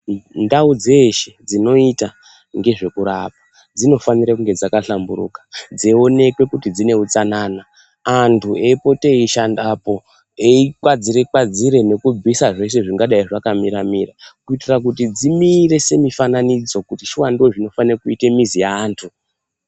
Ndau dzeshe dzinoita ngezvekurapa dzinofanire kunge dzakahlamburuka, dzeionekwe kuti dzine utsanana. Antu eipote eishandapo eikwadzire-kwadzire nekubvisa zvese zvingadai zvakamira-mira kuitira kuti dzimire semifananidzo kuti shuwa ndozvinofane kuite mizi yeantu.